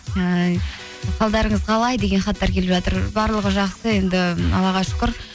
ыыы қалдарыңыз қалай деген хаттар келіп жатыр барлығы жақсы енді аллаға шүкір